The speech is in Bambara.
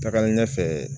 Tagalen ɲɛfɛ